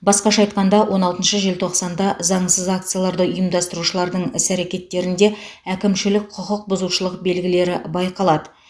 басқаша айтқанда он алтыншы желтоқсанда заңсыз акцияларды ұйымдастырушылардың іс әрекеттерінде әкімшілік құқық бұзушылық белгілері байқалады